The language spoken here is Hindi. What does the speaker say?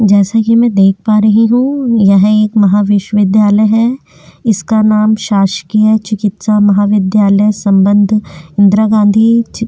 जैसा कि मैं देख पा रही हूँ यह एक महाविश्वविद्यालय है इसका नाम शासकीय चिकित्सा महाविद्यालय संबंध इंदिरा गांधी चीक--